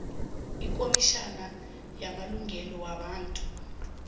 ikhomitjhini yamalungelo wabantu